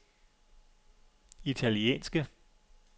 italienske